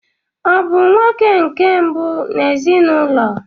Ọ bụ nwa nke mbụ n'ezinụlọ?